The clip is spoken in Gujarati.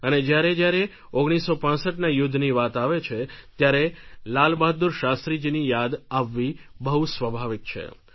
અને જ્યારે જ્યારે 1965ના યુદ્ધની વાત આવે છે ત્યારે લાલબહાદુર શાસ્ત્રીજીની યાદ આવવી બહુ સ્વાભાવિક છે